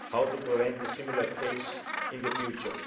How to prevent a similar case in the future?